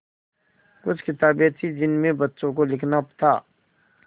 कुछ किताबें थीं जिनमें बच्चों को लिखना था